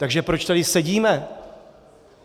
Takže proč tady sedíme?